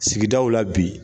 Sigidaw la bi.